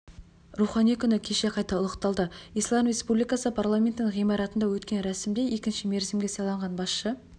рухани күні кеше қайта ұлықталды ислам республикасы парламентінің ғимаратында өткен рәсімде екінші мерзімге сайланған басшы